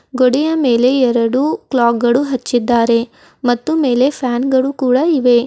ಗೋಡೆಯ ಮೇಲೆ ಎರಡು ಕ್ಲಾಕ್ ಗಳು ಹಚ್ಚಿದ್ದಾರೆ ಮತ್ತು ಮೇಲೆ ಫ್ಯಾನ್ ಗಳು ಕೂಡ ಇವೆ.